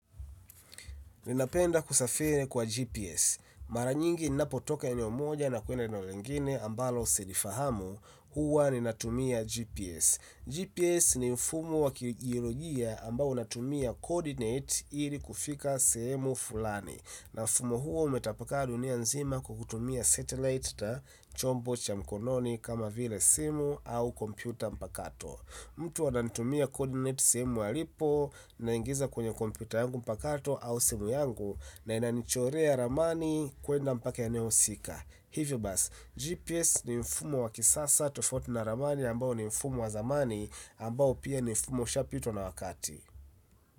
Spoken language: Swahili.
Ninapenda kusafiri kwa GPS. Mara nyingi ninapo toka eneo moja na kwenda eneo lingine ambalo silifahamu huwa ninatumia GPS. GPS ni mfumo wa kiteknolojia ambao unatumia coordinate ili kufika sehemu fulani. Na mfumo huo umetapakaa dunia nzima kwa kutumia satellite na chombo cha mkononi kama vile simu au kompyuta mpakato. Mtu ananitumia coordinate sehemu alipo naingiza kwenye kompyuta yangu mpakato au simu yangu na inanichorea ramani kwenda mpaka eneo husika hivyo bas, GPS ni mfumo wa kisasa tofauti na ramani ambayo ni mfumo wa zamani ambao pia ni mfumo ushapitwa na wakati.